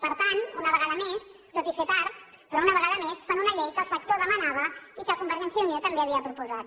per tant una vegada més tot i fer tard però una vegada més fan una llei que el sector demanava i que convergència i unió també havia proposat